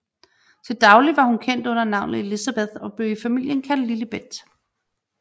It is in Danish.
Til daglig var hun kendt under navnet Elizabeth og blev i familien kaldt Lilibet